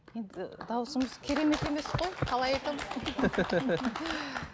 енді дауысымыз керемет емес қой қалай айтамын